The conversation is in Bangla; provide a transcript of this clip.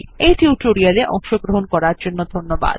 এই টিউটোরিয়াল এ অংশগ্রহন করার জন্য ধন্যবাদ